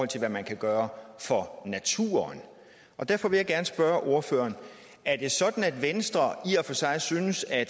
til hvad man kan gøre for naturen derfor vil jeg gerne spørge ordføreren er det sådan at venstre i og for sig synes at